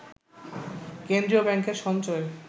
কেন্দ্রীয় ব্যাংকের সঞ্চয়ে